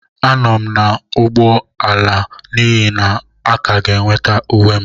Anọ m n'ụgbọala n'ihi na a ka ga-enweta uwe m.